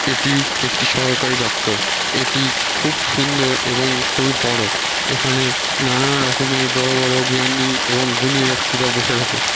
এটি একটি সরকারি দপ্তর এটি খুব সুন্দর এবং খুবই বড়ো এখানে নানা রমের বড়ো বড়ো জ্ঞানী এবং গুণী ব্যক্তিরা বসে থাকে--